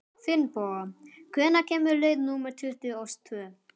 Finnboga, hvenær kemur leið númer tuttugu og tvö?